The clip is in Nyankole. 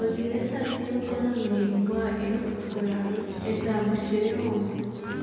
ojwaire esaati y'emikono miraingwa erikutukura etagukireho.